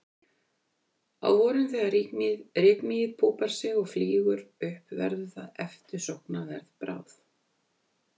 Á vorin þegar rykmýið púpar sig og flýgur upp verður það eftirsóknarverð bráð.